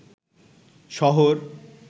শহর